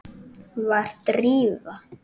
Var Drífa?